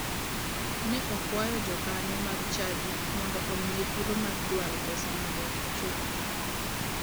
Ne okwayo jokanyo mag chadi mondo omiye thuolo mar dwaro pesa mondo ochulgi.